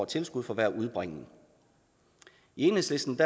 tilskud for hver udbringning i enhedslisten